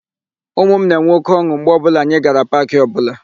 Ụmụ m na-enwe óké ọn̄ụ mgbe ọbụla anyị gara paakị ọbụla.